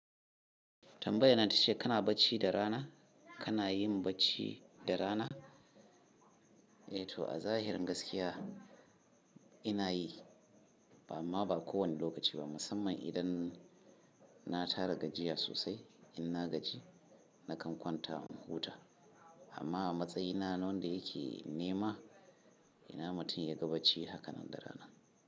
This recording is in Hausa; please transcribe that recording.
Tambayar nan ta ce kana bacci da rana, kana yin bacci da rana? Eh to a zahirin gaskiya ina yi, amma ba kowane lokaci ba, musamman idan na tara gajiya sosai. Inna gaji nakan kwanta in huta amma a matsayina na wanda yake nema ina mutum ya ga bacci hakanan da rana.